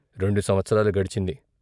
రెండు సంవత్సరాలు గడిచింది.